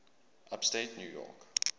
upstate new york